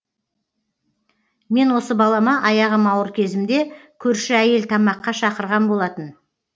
мен осы балама аяғым ауыр кезімде көрші әйел тамаққа шақырған болатын